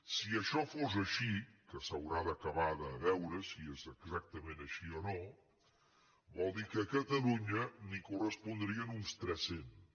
si això fos així que s’haurà d’acabar de veure si és exactament així o no vol dir que a catalunya en correspondrien uns tres cents